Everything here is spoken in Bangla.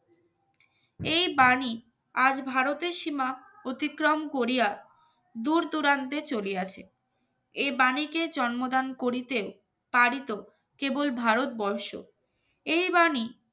এই বাণী, আজ ভারতের সীমা অতিক্রম করিয়া দূরদূরান্তে চলিয়াছে এই বাণীকে জন্মদান করিতেও পারি তো কেবল ভারতবর্ষ। এই বাণী